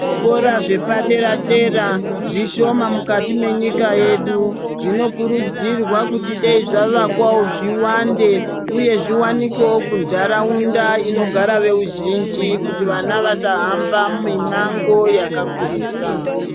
Zvikora zvepadera dera zvishoma mukati mwenyika yedu. Zvinokurudzirwa kuti dayi zvavakwwo zviwande uye kuti zvivakwe munharaunda inogara veruzhinji kuti vana vasahambe mimango yakakurisa.